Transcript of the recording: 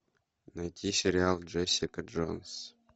найти сериал джессика джонс